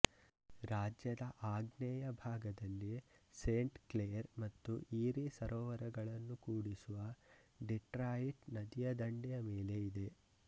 ರಾಜ್ಯದ ಆಗ್ನೇಯ ಭಾಗದಲ್ಲಿ ಸೇಂಟ್ ಕ್ಲೇರ್ ಮತ್ತು ಈರೀ ಸರೋವರಗಳನ್ನು ಕೂಡಿಸುವ ಡಿಟ್ರಾಯಿಟ್ ನದಿಯ ದಂಡೆಯ ಮೇಲೆ ಇದೆ